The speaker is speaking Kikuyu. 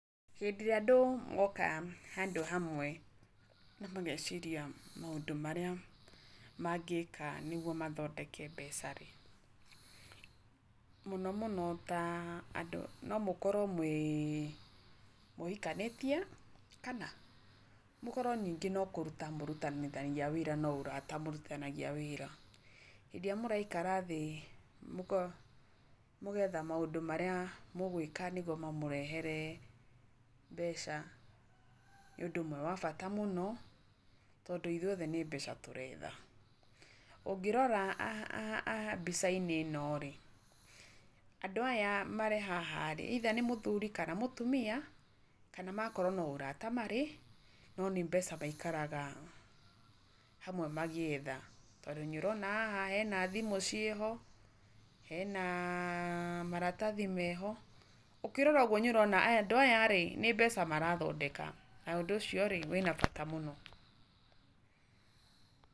Hĩndĩ ĩrĩa andũ moka, handũ hamwe, mageciria maũndũ marĩa mangĩĩka nĩgwo mathondeke mbeca rĩ. Mũno mũno ta andũ no mũkowro mwĩĩ, mũhikanĩtie, kana, mũkorwo ningĩ no kũrutania ũrutanithagia wĩra no mũrata mũrutithanagia wĩra, rĩrĩa mũraikara thĩ mũgetha maũndũ marĩa mũgwĩka nĩguo mamũrehere mbeca , nĩ ũndũ ũmwe wa bata mũno, tondũ ithuĩ othe no mbeca tũretha .Ũngĩrora haha mbica-inĩ ĩno rĩ, andũ aya marĩ haha rĩ either nĩ mũthuri kana mũtumia, kana no makorwo no ũrata marĩ no nĩ mbeca maikaraga hamwe magĩetha, tondũ nĩ ũrona haha hena thimũ ciĩho, hena maratathi meho, ũkĩrora ũguo nĩ ũrorana andũ aya rĩ nĩ mbeca marathondeka , na ũndũ ũcio rĩ wĩna bata mũno.